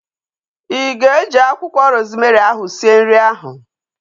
Ị ga-eji akwụkwọ rozmerị ahu sie nri ahu?